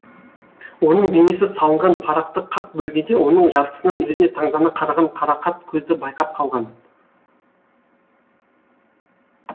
оның бейнесі салынған парақты қақ бөлгенде оның жартысынан өзіне таңдана қараған қарақат көзді байқап қалған